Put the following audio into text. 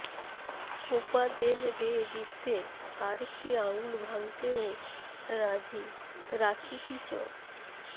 Copa del Rey জিততে আরেকটি আঙুল ভাঙতেও রাজি রাকিতিচ